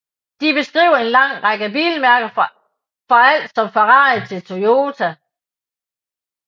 De beskriver en lang række bilmærker fra alt som Ferrari til Toyota